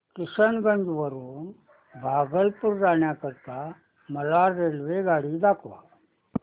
किशनगंज वरून भागलपुर जाण्या करीता मला रेल्वेगाडी दाखवा